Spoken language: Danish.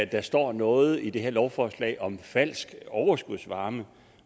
der står noget i det her lovforslag om falsk overskudsvarme